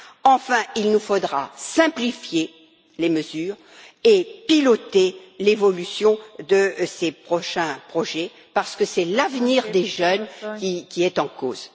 Enfin, il nous faudra simplifier les mesures et piloter l'évolution de ces prochains projets, parce que c'est l'avenir des jeunes qui est en cause.